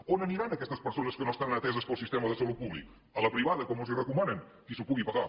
on aniran aquestes persones que no estaran ateses pel sistema de salut públic a la privada com els hi recomanen qui s’ho pugui pagar